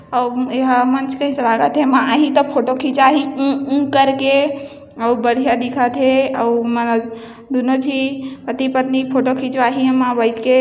अऊ यहा मंच कैसा लागत हे म आही त फोटो खिचाही उ-उ करके और बढ़िया दिखथे आऊ दुनो झिन पति पत्नी फोटो खिचवाही इ मा बइठके।